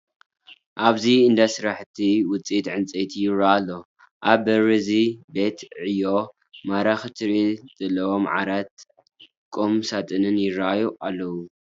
ኣብዚ እንዳ ስራሕቲ ውፅኢት ዕንጨይቲ ይርአ ኣሎ፡፡ ኣብ በሪ እዚ ቤት ዕዮ ማራኺ ትርኢት ዘለዎም ዓራትን ቁም ሳጥንን ይርአዩ ኣለዉ፡፡